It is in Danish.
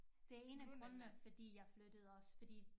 Det 1 af grundene fordi jeg flyttede også fordi